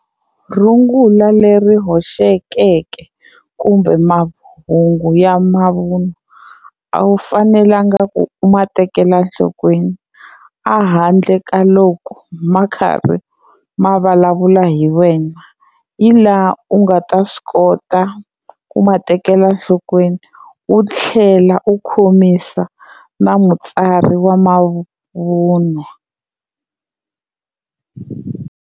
Rungula leri hoxekeke kumbe mahungu ya mavun'wa a wu fanelanga ku ma tekela enhlokweni a handle ka loko ma khari ma vulavula hi wena, hi laha u nga ta swi kota ku ma tekela enhlokweni u tlhela u khomisa na mutsari wa mavunwa.